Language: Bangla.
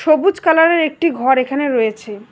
সবুজ কালারের একটি ঘর এখানে রয়েছে।